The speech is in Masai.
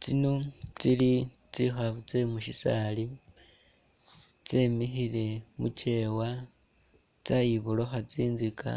Tsino tsili tsikhaafu tsemusisaali tsemikhile mukewa tsayiborokha tsinzika